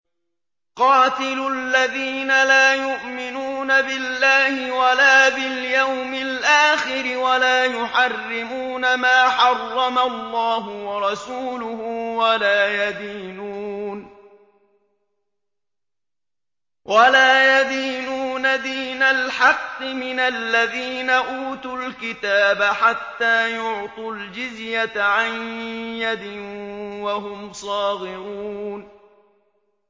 قَاتِلُوا الَّذِينَ لَا يُؤْمِنُونَ بِاللَّهِ وَلَا بِالْيَوْمِ الْآخِرِ وَلَا يُحَرِّمُونَ مَا حَرَّمَ اللَّهُ وَرَسُولُهُ وَلَا يَدِينُونَ دِينَ الْحَقِّ مِنَ الَّذِينَ أُوتُوا الْكِتَابَ حَتَّىٰ يُعْطُوا الْجِزْيَةَ عَن يَدٍ وَهُمْ صَاغِرُونَ